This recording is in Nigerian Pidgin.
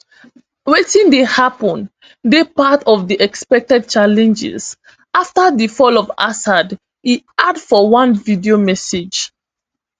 wetin dey happun dey part of di expected challenges afta di fall of assad e add for one video message